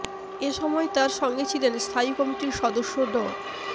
এ সময় তার সঙ্গে ছিলেন স্থায়ী কমিটির সদস্য ড